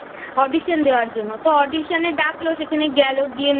Audition দেওয়ার জন্য। তো Audition এ ডাকল সেখানে গেল গিয়ে